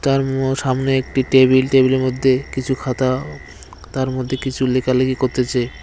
তার ম-সামনে একটি টেবিল টেবিলের মধ্যে কিছু খাতা তার মধ্যে কিছু লেখালেখি করতেছে।